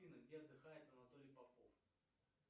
афина где отдыхает анатолий попов